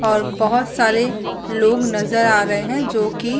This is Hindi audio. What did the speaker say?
और बहुत सारे लोग नजर आ रहे है जो की --